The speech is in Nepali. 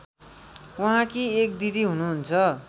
उहाँकी एक दिदी हुनुहुन्छ